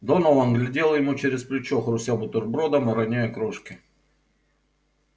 донован глядел ему через плечо хрустел бутербродом и роняя крошки